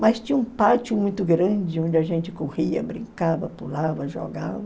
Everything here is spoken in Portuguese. Mas tinha um pátio muito grande onde a gente corria, brincava, pulava, jogava.